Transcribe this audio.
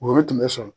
Woro tun bɛ sɔrɔ